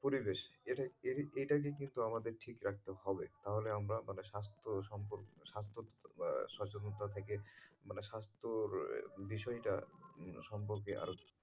পরিবেশ এটা, এটা কে কিন্তু আমাদের ঠিক রাখতে হবে। নাহলে আমরা মানে স্বাস্থ্য সম্পর্ক, স্বাস্থ্য সচেতনতা থেকে মানে স্বাস্থ্যের বিষয়টা উম সম্পর্কে আরও,